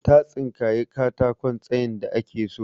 Ta tsinkayi katakon tsayin da ake so.